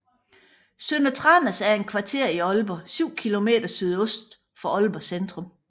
Sønder Tranders er et kvarter i Aalborg syv kilometer sydøst for Aalborg Centrum